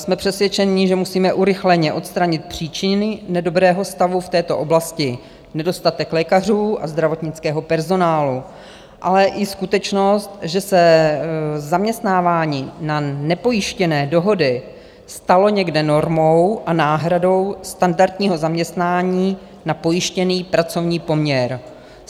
Jsme přesvědčeni, že musíme urychleně odstranit příčiny nedobrého stavu v této oblasti - nedostatek lékařů a zdravotnického personálu, ale i skutečnost, že se zaměstnávání na nepojištěné dohody stalo někde normou a náhradou standardního zaměstnání na pojištěný pracovní poměr.